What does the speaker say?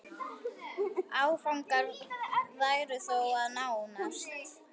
Áfangar væru þó að nást.